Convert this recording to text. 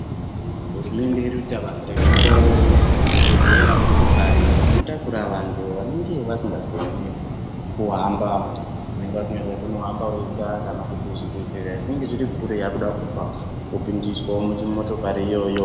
Hurumende iri kuitawo basa rekupa zvi bhedhlera motokari dzino takura vantu vanenge vasingach koni kuhamba vega kana kuti zvi bhedhlera zviri kure muntu akuda kufa vopindiswa mu motokari iyoyo.